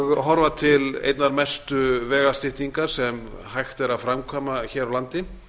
og horfa til einnar mestu vegastyttingar sem hægt er að framkvæma hér á landi